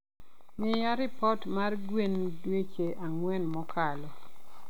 mila ripot mar gwen dueche ang`wen mokalo.